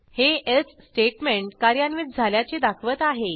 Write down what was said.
हे else statement कार्यान्वित झाल्याचे दाखवत आहे